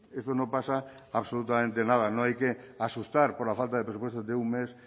esto no pasa absolutamente nada no hay que asustar por la falta de presupuestos de un mes